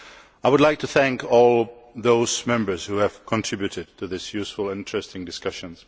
I would like to thank all those Members who have contributed to this useful and interesting discussion.